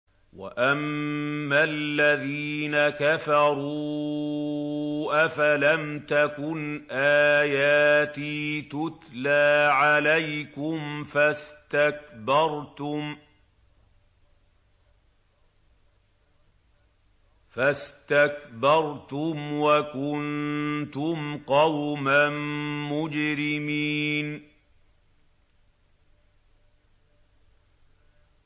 وَأَمَّا الَّذِينَ كَفَرُوا أَفَلَمْ تَكُنْ آيَاتِي تُتْلَىٰ عَلَيْكُمْ فَاسْتَكْبَرْتُمْ وَكُنتُمْ قَوْمًا مُّجْرِمِينَ